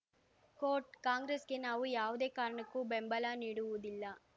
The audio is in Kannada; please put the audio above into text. ಕೋಟ್‌ ಕಾಂಗ್ರೆಸ್‌ಗೆ ನಾವು ಯಾವುದೇ ಕಾರಣಕ್ಕೂ ಬೆಂಬಲ ನೀಡುವುದಿಲ್ಲ